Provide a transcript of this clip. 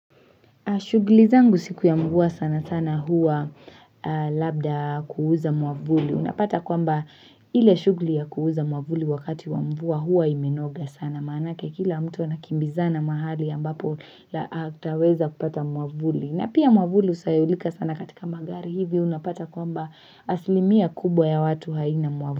Shughuli zangu siku ya mvua sana sana hua labda kuuza mwavuli. Unapata kwamba ile shughuli ya kuuza mwamvuli wakati wa mvua hua imenoga sana. Maanake kila mtu anakimbizana mahali ambapo ataweza kupata mwamvuli. Na pia mwamvuli husahaulika sana katika magari hivyo unapata kwamba aslimia kubwa ya watu haina mwamvuli.